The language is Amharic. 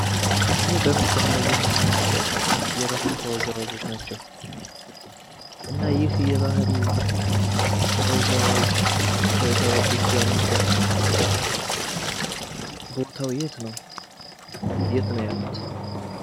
ይህ በምስሉ ላይ የምናያቸው የባህል ተወዛዋዥ ናቸው። እና ይህ የባህል ተወዛዋዥ ተወዛዋዦች ያሉበት ቦታው የት ነው? የት ነው ያሉት?